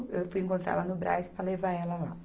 Eu fui encontrar ela no Brás para levar ela lá.